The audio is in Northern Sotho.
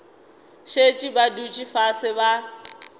šetše ba dutše fase ba